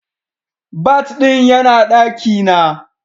Bat din yana daki na.